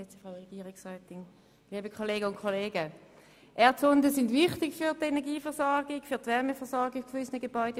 Erdsonden sind wichtig für die Energieversorgung, aber vor allem für die Wärmeversorgung unserer Gebäude.